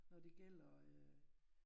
Når det gælder øh